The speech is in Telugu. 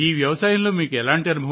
ఇది మా సాంప్రదాయిక వ్యవసాయం సార్